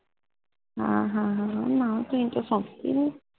ਹਾਂ ਹਾਂ ਹਾਂ ਨਾ ਤੁਸੀ ਤਾ ਸੋਂਦੇ ਹੀ ਨਹੀਂ